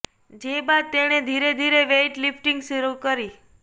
જે બાદ તેણે ધીરે ધીરે વેઇટ લિફ્ટિંગ શરુ કરી